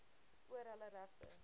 oor hulle regte